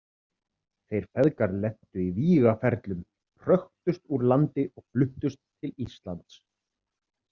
Þeir feðgar lentu í vígaferlum, hröktust úr landi og fluttust til Íslands.